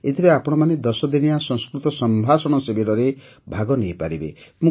ଏଥିରେ ଆପଣମାନେ ୧୦ ଦିନିଆ ସଂସ୍କୃତ ସମ୍ଭାଷଣ ଶିବିରରେ ଭାଗ ନେଇପାରିବେ